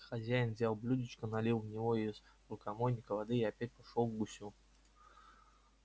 хозяин взял блюдечко налил в него из рукомойника воды и опять пошёл к гусю